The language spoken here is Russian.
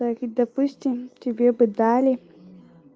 так и допустим тебе бы дали